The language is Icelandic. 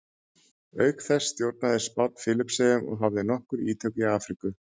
Auk þessa stjórnaði Spánn Filippseyjum og hafði nokkur ítök í Afríku.